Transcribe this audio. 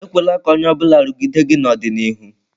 Ekwela ka onye ọ bụla rugide gị n'ọdịnihu.